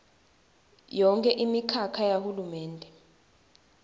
yonkhe imikhakha yahulumende